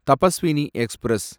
Tapaswini express